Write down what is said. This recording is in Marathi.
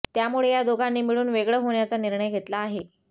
त्यामुळे त्या दोघांनी मिळून वेगळं होण्याचा निर्णय घेतला आहे